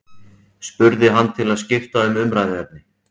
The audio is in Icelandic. spurði hann til að skipta um umræðuefni.